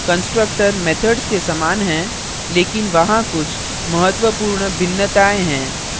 constructors methods के समान हैं लेकिन वहाँ कुछ महत्वपूर्ण भिन्नताएँ हैं